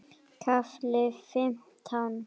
KAFLI FIMMTÁN